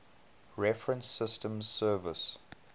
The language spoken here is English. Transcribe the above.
reference systems service